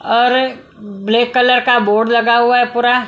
और black colour का board लगा हुआ है पूरा।